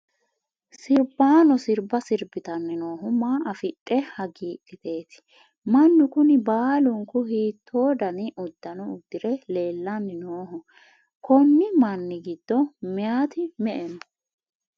sirbaano sirba sirbitanni noohu maa afidhe hagiidhiteeti? mannu kuni baalunku hiitto dani uddano uddire leellanni nooho? konni manni giddo meyaati me''e no?